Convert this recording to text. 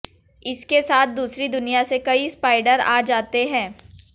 इसके साथ दूसरी दुनिया से कई स्पाइडर आ जाते हैं